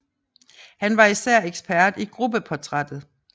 Han var især ekspert i gruppeportrættet